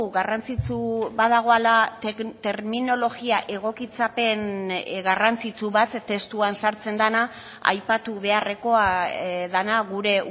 garrantzitsu badagoela terminologia egokitzapen garrantzitsu bat testuan sartzen dena aipatu beharrekoa dena gure